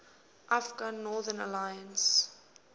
afghan northern alliance